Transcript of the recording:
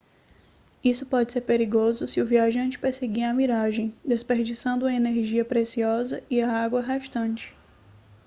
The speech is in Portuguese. isso pode ser perigoso se o viajante perseguir a miragem desperdiçando uma energia preciosa e a água restante